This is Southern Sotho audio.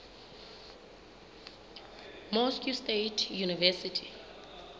moscow state university